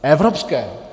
Evropské.